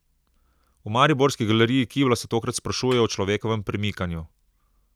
V mariborski galeriji Kibla se tokrat sprašujejo o človekovem premikanju.